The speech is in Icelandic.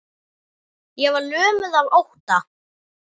Ég var lömuð af ótta.